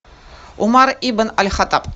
умар ибн аль хаттаб